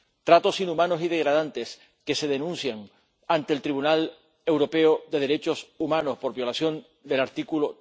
tratos inhumanos y degradantes que se denuncian ante el Tribunal Europeo de Derechos Humanos por violación del artículo